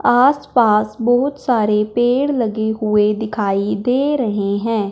आसपास बहुत सारे पेड़ लगे हुएं दिखाई दे रहें हैं।